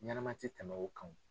Ɲɛnɛma ti tɛmɛ o kan wo.